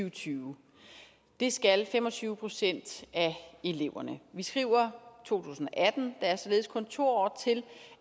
og tyve det skal fem og tyve procent af eleverne vi skriver to tusind og atten der er således kun to år til